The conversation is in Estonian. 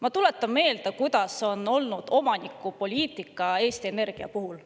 Ma tuletan meelde, milline on olnud omanikupoliitika Eesti Energia puhul.